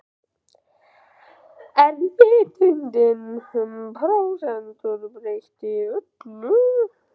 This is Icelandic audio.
En vitundin um prósentur breytti öllu.